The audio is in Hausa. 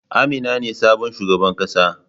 Amina ce sabon shugaban kasa.